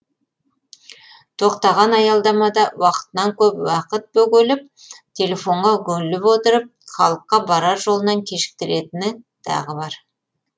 тоқтаған аялдамада уақытынан көп уақыт бөгеліп телефонға үгіліп отырып халыққа барар жолынан кешіктіретіні тағы бар